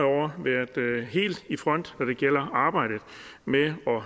år været helt i front når det gælder arbejdet med at